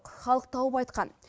халық тауып айтқан